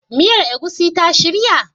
Miyar egusi ta shirya?